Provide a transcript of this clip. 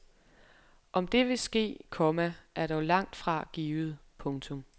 Om det vil ske, komma er dog langt fra givet. punktum